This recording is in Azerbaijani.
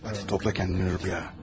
Hadi topla kendini, rüya.